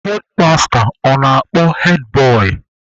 Hedmasta ọ na-akpọ hedbọị?